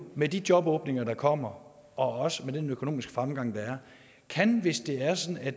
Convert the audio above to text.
med de jobåbninger der kommer og også med den økonomiske fremgang der er kan hvis det er sådan at